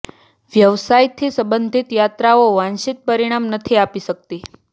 વ્યવસાય થી સંબંધીત યાત્રાઓ વાંછિત પરિણામ નથી આપી શકતી